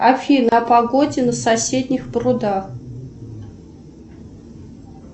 афина о погоде на соседних прудах